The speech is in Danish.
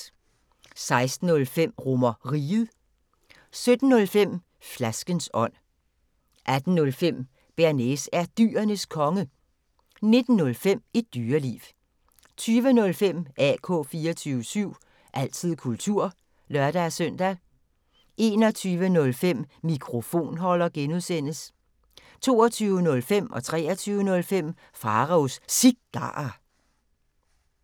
16:05: RomerRiget 17:05: Flaskens ånd 18:05: Bearnaise er Dyrenes Konge 19:05: Et Dyreliv 20:05: AK 24syv – altid kultur (lør-søn) 21:05: Mikrofonholder (G) 22:05: Pharaos Cigarer 23:05: Pharaos Cigarer